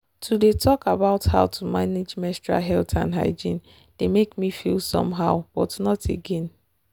to dey talk about how to manage menstrual health and hygiene dey make me feel somehow but not again